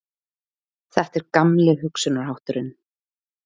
Þetta er gamli hugsunarhátturinn